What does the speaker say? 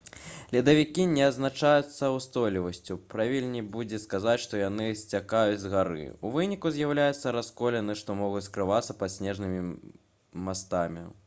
ледавікі не адзначаюцца ўстойлівасцю правільней будзе сказаць што яны сцякаюць з гары у выніку з'яўляюцца расколіны што могуць скрывацца пад снежнымі мастамі